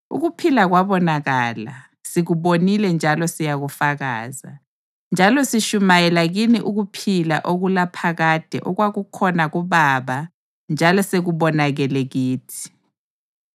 Ukuphila kwabonakala; sikubonile njalo siyakufakaza, njalo sitshumayela kini ukuphila okulaphakade okwakukhona kuBaba njalo sekubonakele kithi.